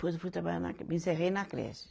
Depois eu fui trabalhar na creche, me encerrei na creche.